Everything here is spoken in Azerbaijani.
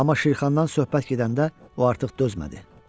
Amma Şirxandan söhbət gedəndə o artıq dözmədi.